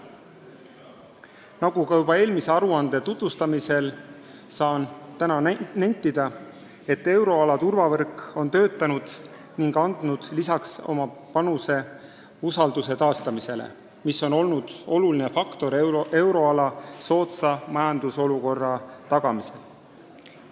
Nagu märgiti juba eelmise aruande tutvustamisel, saan ka täna nentida, et euroala turvavõrk on töötanud ja andnud oma panuse usalduse taastamisele, mis on olnud oluline tegur euroala soodsa majandusseisu tagamisel.